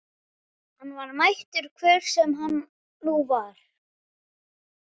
Hann var mættur, hver sem hann nú var.